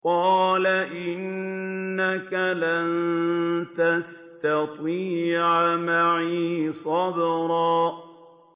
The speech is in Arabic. قَالَ إِنَّكَ لَن تَسْتَطِيعَ مَعِيَ صَبْرًا